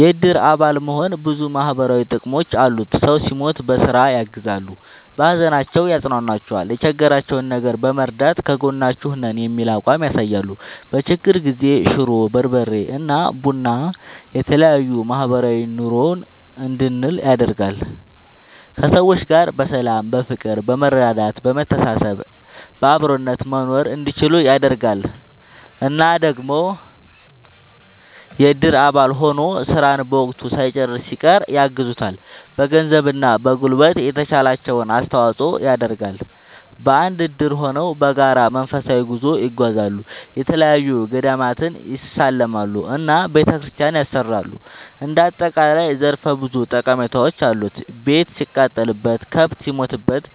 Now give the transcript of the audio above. የእድር አባል መሆን ብዙ ማህበራዊ ጥቅሞች አሉት ሰው ሲሞት በስራ ያግዛሉ። በሀዘናቸው ያፅኗኗቸዋል የቸገራቸውን ነገር በመርዳት ከጎናችሁ ነን የሚል አቋም ያሳያሉ። በችግር ጊዜ ሽሮ፣ በርበሬ እና ቡና የተለያዬ ማህበራዊ ኑሮን እንድንል ያደርጋል። ከሰዎች ጋር በሰላም በፍቅር በመረዳዳት በመተሳሰብ በአብሮነት መኖርእንዲችሉ ያደርጋል። እና ደግሞ የእድር አባል ሆኖ ስራን በወቅቱ ሳይጨርስ ሲቀር ያግዙታል በገንዘብ እና በጉልበት የተቻላቸውን አስተዋፅዖ ይደረጋል። በአንድ እድር ሆነው በጋራ መንፈሳዊ ጉዞ ይጓዛሉ፣ የተለያዪ ገዳማትን ይሳለማሉ እና ቤተክርስቲያን ያሰራሉ እንደ አጠቃላይ ዘርፈ ብዙ ጠቀሜታዎች አሉት። ቤት ሲቃጠልበት፣ ከብት ሲሞትበት